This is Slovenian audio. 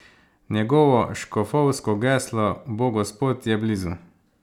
Njegovo škofovsko geslo bo Gospod je blizu!